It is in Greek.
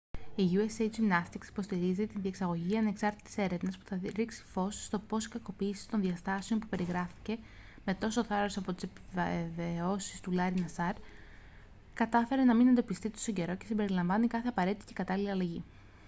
η usa gymnastics υποστηρίζει τη διεξαγωγή ανεξάρτητης έρευνας που θα ρίξει φως στο πώς η κακοποίηση των διαστάσεων που περιγράφηκε με τόσο θάρρος από τις επιβιώσασες του larry nassar κατάφερε να μην εντοπιστεί τόσο καιρό και συμπεριλαμβάνει κάθε απαραίτητη και κατάλληλη αλλαγή